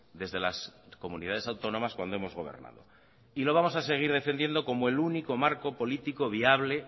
desde las comunidades autónomas cuando hemos gobernado y lo vamos a seguir defendiendo como el único marco político viable